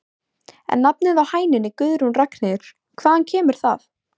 En nafnið á hænunni Guðrún Ragnheiður, hvaðan kemur það?